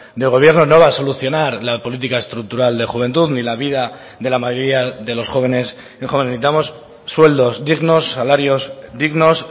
del gobierno no va a solucionar la política estructural de juventud ni la vida de la mayoría de los jóvenes necesitamos sueldos dignos salarios dignos